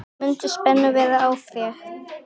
Þannig mundi spennu verða aflétt.